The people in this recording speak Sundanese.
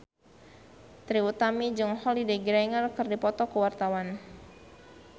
Trie Utami jeung Holliday Grainger keur dipoto ku wartawan